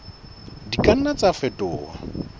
di ka nna tsa fetoha